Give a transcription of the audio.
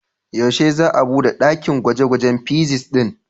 Yaushe za'a bude ɗakin gwaje-gwajen fizics ɗin?